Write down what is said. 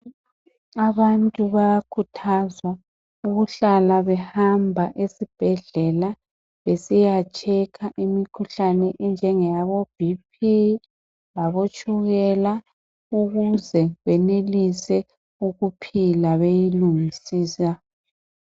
Abantu bayakhuthazwa ukuhlala behamba esibhedlela besiyatshekha imikhuhlane enjenge yabo BP labo tshukela ukuze benelise ukuphila beyilungisisa